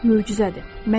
Möcüzədir.